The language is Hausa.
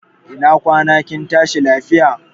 Ina kwana kin tashi lafiya?